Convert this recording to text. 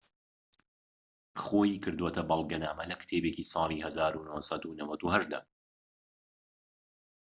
خۆی کردۆتە بەڵگەنامە لە کتێبێکی ساڵی ١٩٩٨ دا